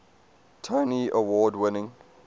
tony award winning